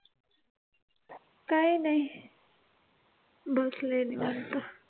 काय नाही बसलेय निवांत